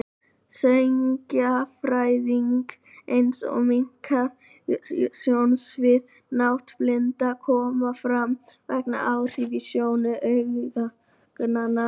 Sjónskerðing, eins og minnkað sjónsvið og náttblinda, koma fram vegna áhrifa á sjónu augnanna.